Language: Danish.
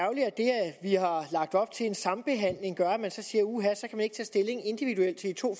jeg har lagt op til en sambehandling gør at man så siger uha så kan man ikke tage stilling individuelt til de to